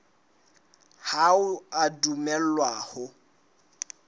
ha o a dumellwa ho